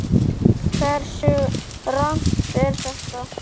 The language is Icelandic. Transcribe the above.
Hversu rangt er þetta?